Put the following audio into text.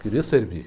Queria servir.